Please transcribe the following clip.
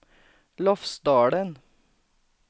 Lofsdalen